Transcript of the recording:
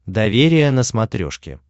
доверие на смотрешке